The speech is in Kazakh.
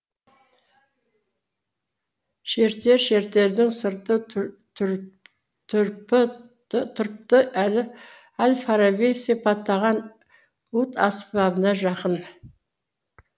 шертершертердің сырты тұрпы әл фараби сипаттаған уд аспабына жақын